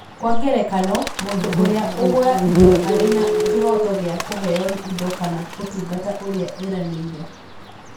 Kwa ngerekano, mũndũ ũrĩa ũgũra indo arĩ na kĩhooto gĩa kũheo indo kana ũtungata ũrĩa eranĩire.